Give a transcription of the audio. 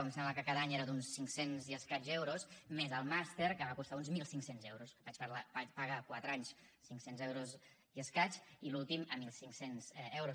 em sembla que cada any era d’uns cinc cents euros i escaig més el màster que em va costar uns mil cinc cents euros vaig pagar quatre anys a cinc cents euros i escaig i l’últim a mil cinc cents euros